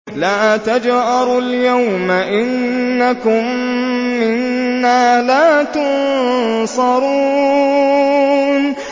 لَا تَجْأَرُوا الْيَوْمَ ۖ إِنَّكُم مِّنَّا لَا تُنصَرُونَ